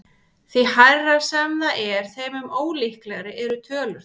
Því hærra sem það er þeim mun ólíkari eru tölurnar.